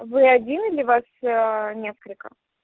вы один или вас несколько